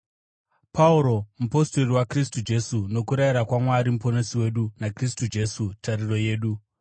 Pauro, mupostori waKristu Jesu nokurayira kwaMwari Muponesi wedu, naKristu Jesu, tariro yedu,